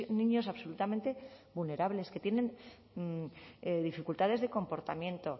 niños absolutamente vulnerables que tienen dificultades de comportamiento